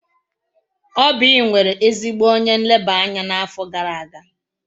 Oby nwere ezigbo onye nleba anya n'afọ gara aga.